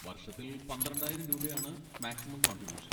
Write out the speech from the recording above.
വർഷത്തിൽ പന്ത്രണ്ടായിരം രൂപയാണ് മാക്സിമം കോൺട്രിബൂഷൻ.